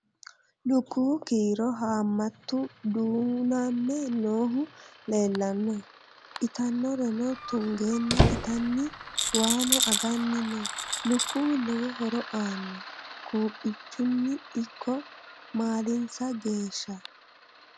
Lukkuwu kiiro haammattu duunname noohu leelanno ittannorenno tungeenna ittanni waanno anganni noo lukkuwu lowo horo aanno quuphphichunni ikko maalinsaa geeshsha